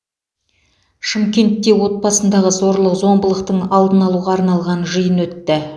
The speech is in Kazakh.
шымкентте отбасындағы зорлық зомбылықтың алдын алуға арналған жиын өтті